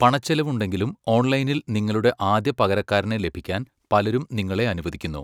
പണച്ചെലവുണ്ടെങ്കിലും ഓൺലൈനിൽ നിങ്ങളുടെ ആദ്യ പകരക്കാരനെ ലഭിക്കാൻ പലരും നിങ്ങളെ അനുവദിക്കുന്നു.